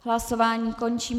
Hlasování končím.